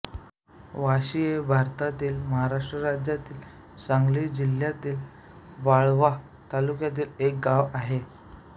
वाशी हे भारतातील महाराष्ट्र राज्यातील सांगली जिल्ह्यातील वाळवा तालुक्यातील एक गाव आहे